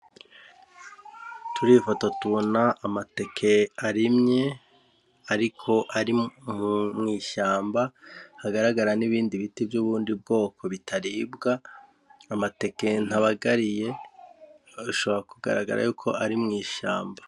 Turifata tubona amateke arimye, ariko ari mu mw'ishamba hagaragara n'ibindi biti vy'ubundi bwoko bitaribwa amateke ntabagariye ashabora kugaragara yuko ari mw'ishamba.